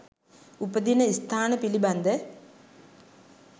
උපදින ස්ථාන පිළිබඳ